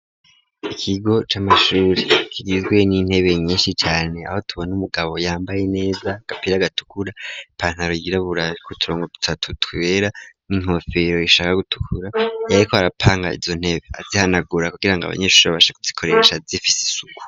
Ikigo c'amashuri kigizwe n'intebe nyinshi cane, aho tubona umugabo yambaye neza, gapira gatukura ,ipantaro yirabura ,ku turongo dutatu twera ,n'inkofero ishaka gutukura, yari ko arapanga izo ntebe, azihanagura kugirango abanyeshuri babashe kuzikoresha zifise isuku.